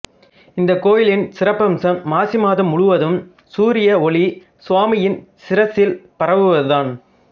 இந்தக் கோயிலின் சிறப்பம்சம் மாசி மாதம் முழுவதும் சூரிய ஒளி சுவாமியின் சிரசில் பரவுவதுதான்